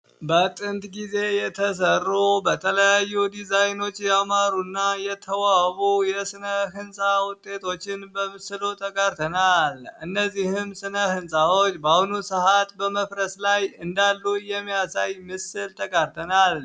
በጥንት ጊዜ የተሰሩ በተለያዩ ዲዛይኖች ያማሩ ና የተዋቡ የስነ ህንፃ ውጤቶችን በምስሉ ተጋርተናል እነዚህም ስነ ሕንፃዎች በአሁኑ ሰዓት በመፍረስ ላይ እንዳሉ የሚያሳይ ምስል ተጋርተናል።